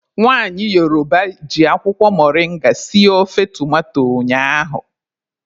Nwaanyị Yoroba jị akwụkwọ moringa sie ofe tomato ụnyaahụ.